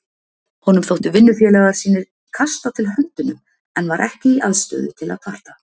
Honum þóttu vinnufélagar sínir kasta til höndunum en var ekki í aðstöðu til að kvarta.